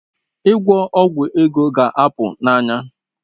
Ịgwọ ọgwụ ego ga-apụ n'anya